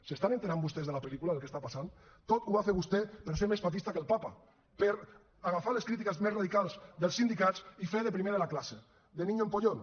s’estan assabentant vostès de la pel·lícula del que està passant tot ho va fer vostè per ser més papista que el papa per agafar les crítiques més radicals dels sindicats i fer de primer de la classe de niño empollón